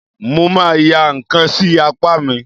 Mo ma ya ǹkan sí apá mi.